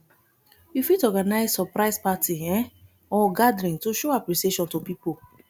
you fit organise surprise party um or gathering to show appreciation to pipo